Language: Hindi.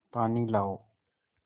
पानी लाओ